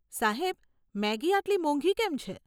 સાહેબ, મેગી આટલી મોંઘી કેમ છે?